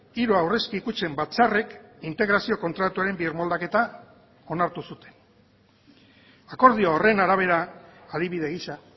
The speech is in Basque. hiru aurrezki kutxen batzarrek integrazio kontratuaren birmoldaketa onartu zuten akordio horren arabera adibide gisa